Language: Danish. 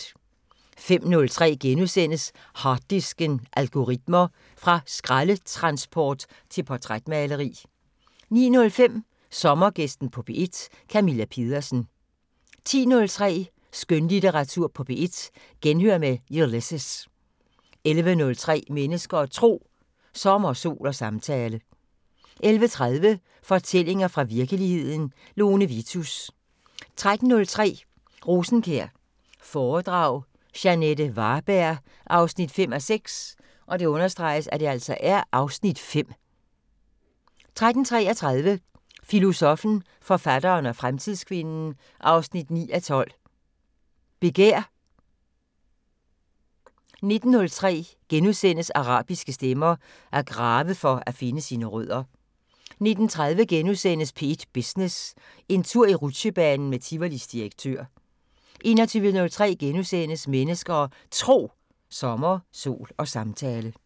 05:03: Harddisken: Algoritmer – fra skraldetransport til portrætmaleri * 09:05: Sommergæsten på P1: Camilla Pedersen 10:03: Skønlitteratur på P1: Genhør med Ulysses 11:03: Mennesker og Tro: Sommer, sol og samtale 11:30: Fortællinger fra virkeligheden – Lone Vitus 13:03: Rosenkjær foredrag – Jeanette Varberg 5:6 (Afs. 5) 13:33: Filosoffen, forfatteren og fremtidskvinden 9:12: Begær 19:03: Arabiske stemmer: At grave for at finde sine rødder * 19:30: P1 Business: En tur i rutsjebanen med Tivolis direktør * 21:03: Mennesker og Tro: Sommer, sol og samtale *